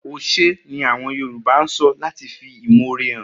Oshey' ni awon Yoruba so lati fi imoore han